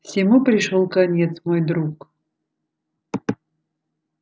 всему пришёл конец мой друг